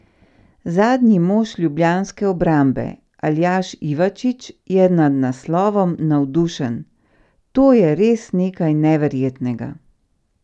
Zadnji mož ljubljanske obrambe, Aljaž Ivačič, je nad naslovom navdušen: "To je res nekaj neverjetnega.